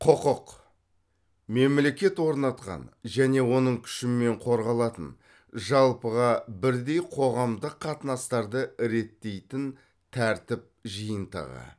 құқық мемлекет орнатқан және оның күшімен қорғалатын жалпыға бірдей қоғамдық қатынастарды реттейтін тәртіп жиынтығы